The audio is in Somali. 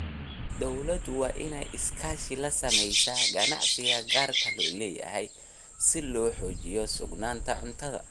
Dawladdu waa inay iskaashi la samaysaa ganacsiga gaarka loo leeyahay si loo xoojiyo sugnaanta cuntada.